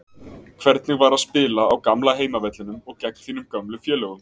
Hvernig var að spila á gamla heimavellinum og gegn þínum gömlu félögum?